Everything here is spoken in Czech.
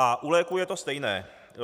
A u léků je to stejné.